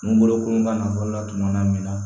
N'u bolo koron ka nafolo ladon na min na